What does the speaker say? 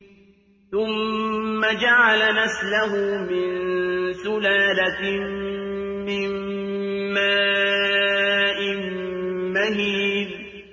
ثُمَّ جَعَلَ نَسْلَهُ مِن سُلَالَةٍ مِّن مَّاءٍ مَّهِينٍ